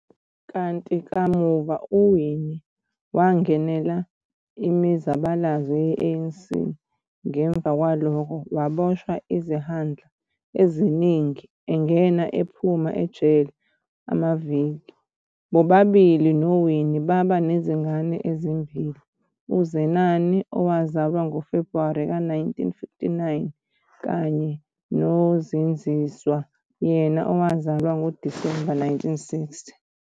Kanti kamuva uWinnie wangenela imizabalazo ye-ANC, ngemuva kwalokho waboshwa izihlandla eziningi engena ephuma ejele amavik. Bobabili noWinnie baba nezingane ezimbili, uZenani owazalwa ngoFebruwari ka 1959 kanye noZindziswa yena owazalwa ngoDisemba 1960.